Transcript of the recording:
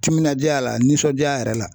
Timinadiya la nisɔndiya yɛrɛ la